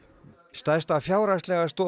stærsta fjárhagslega stoð